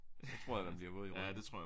Så tror jeg man bliver våd i ryggen